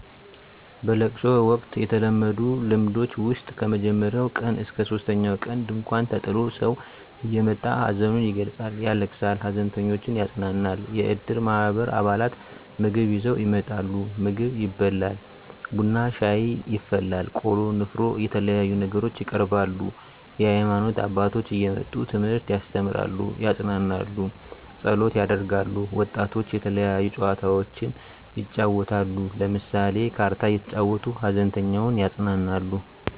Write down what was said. በለቅሶ ወቅት የተለመዱ ልምዶች ውስጥ ከመጀመሪያው ቀን እስከ ሶስተኛው ቀን ድንኳን ተጥሎ ሰው እየመጣ ሀዘኑን ይገልፃል ያለቅሳል ሃዘንተኞችን ያፅናናል። የእድር ማህበር አባላት ምግብ ይዘው ይመጣሉ ምግብ ይበላል ቡና ሻይ ይፈላል ቆሎ ንፍሮ የተለያዩ ነገሮች ይቀርባሉ። የሀይማኖት አባቶች እየመጡ ትምህርት ያስተምራሉ ያፅናናሉ ፀሎት ያደርጋሉ። ወጣቶች የተለያዩ ጨዋታዎችን ይጫወታሉ ለምሳሌ ካርታ እየተጫወቱ ሃዘንተኛውን ያፅናናሉ።